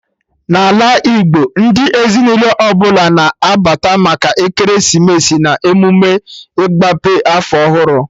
Na ala Igbo, ndị ezinụlọ ọbụla na-abata maka ekeresimesi na emụme ịgbape afọ ọhụrụ